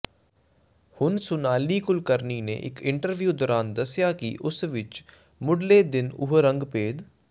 ਹੁਣ ਸੋਨਾਲੀ ਕੁਲਕਰਨੀ ਨੇ ਇਕ ਇੰਟਰਵਿਉ ਦੌਰਾਨ ਦੱਸਿਆ ਕਿ ਉਸ ਵਿੱਚ ਮੁੱਡਲੇ ਦਿਨ ਉਹ ਰੰਗਭੇਦ